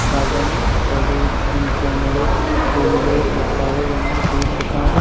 সাজানো। তাদের কোমরে সাদা ও কালো রঙের বেল্ট বাধা।